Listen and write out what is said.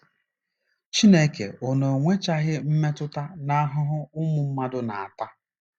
Chineke ọ̀ na-enwechaghị mmetụta n'ahụhụ ụmụ mmadụ na-ata?